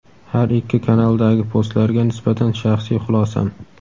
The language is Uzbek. Har ikki kanaldagi postlarga nisbatan shaxsiy xulosam:.